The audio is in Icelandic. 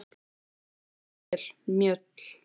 Þú stendur þig vel, Mjöll!